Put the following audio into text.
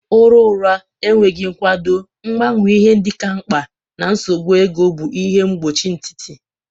Ụra ụra, enweghị nkwado, mgbanwe ihe ndị ka mkpa, na nsogbu ego bụ ihe mgbochi nkịtị.